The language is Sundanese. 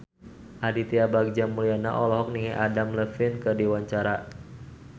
Aditya Bagja Mulyana olohok ningali Adam Levine keur diwawancara